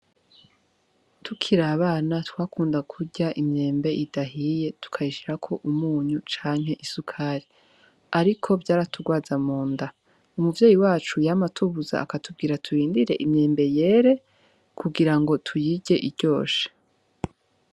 Tukir'abana twakunda kurya imyembe idahiye tukayishirako umunyu cank'isukari, ariko vyaraturwaza munda, umuvyeyi wacu yam' atubuza akatubwira turindire imyembe yere kugirango tuyirye iryoshe.